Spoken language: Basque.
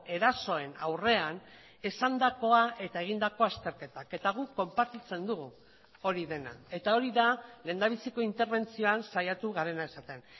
erasoen aurrean esandakoa eta egindako azterketak eta guk konpartitzen dugu hori dena eta hori da lehendabiziko interbentzioan saiatu garena esaten